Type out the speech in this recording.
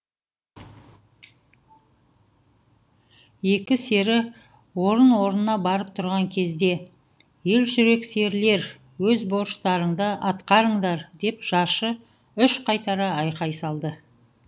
екі сері орын орнына барып тұрған кезде ер жүрек серілер өз борыштарыңды атқарыңдар деп жаршы үш қайтара айқай салды